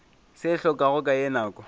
se hlokago ka ye nako